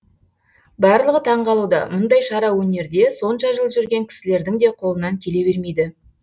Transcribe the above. барлығы таңғалуда мұндай шара өнерде сонша жыл жүрген кісілердің де қолынан келе бермейді